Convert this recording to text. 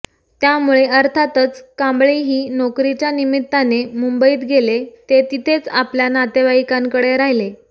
त्यामुळे अर्थातच कांबळीही नोकरीच्या निमित्ताने मुंबईत गेले ते तिथेच आपल्या नातेवाईकांकडे राहिले